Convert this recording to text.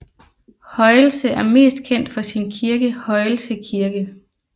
Højelse er mest kendt for sin kirke Højelse Kirke